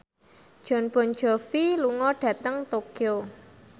Jon Bon Jovi lunga dhateng Tokyo